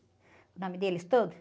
O nome deles todos?